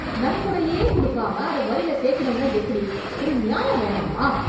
நன்கொடையே குடுக்காம அத வரில சேக்கணும்னா எப்படி? ஒரு நியாயம் வேணாமா?